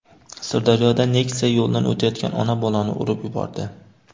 Sirdaryoda Nexia yo‘ldan o‘tayotgan ona-bolani urib yubordi.